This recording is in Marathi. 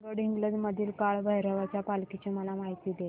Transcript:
गडहिंग्लज मधील काळभैरवाच्या पालखीची मला माहिती दे